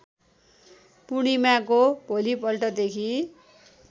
पूर्णिमाको भोलिपल्टदेखि